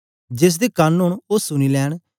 जेसदे कन ओंन ओ सुनी लैंन